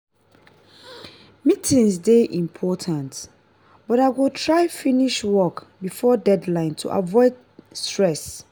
meetings dey important but i go try finish work before deadline to avoid stress.